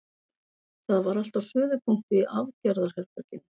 Það var allt á suðupunkti í aðgerðaherberginu.